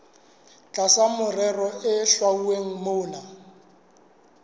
tlasa merero e hlwauweng mona